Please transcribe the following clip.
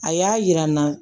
A y'a yira n na